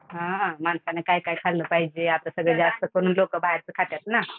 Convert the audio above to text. हां माणसाने काय काय खाल्लं पाहिजे? आता कसं जास्त करून लोकं बाहेरचं खातात ना.